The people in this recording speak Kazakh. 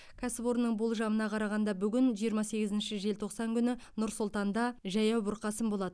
кәсіпорынның болжамына қарағанда бүгін жиырма сегізінші желтоқсан күні нұр сұлтанда жаяу бұрқасын болады